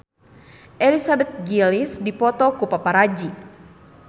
Elizabeth Gillies dipoto ku paparazi